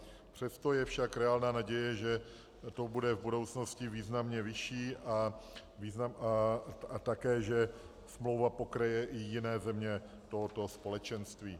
Přesto je však reálná naděje, že to bude v budoucnosti významně vyšší a také že smlouva pokryje i jiné země tohoto společenství.